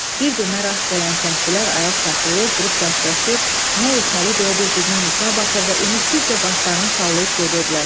Bir-birinə rast gələn kəndlilər ayaq saxlayır, durub dərdləşir, nə etməli deyə bir-birinin üzünə baxır və ümidsizcə başlarını sallayıb gedirdilər.